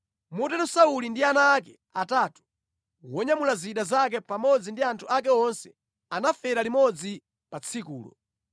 Motero Sauli ndi ana ake atatu, wonyamula zida zake pamodzi ndi anthu ake onse anafera limodzi pa tsikulo.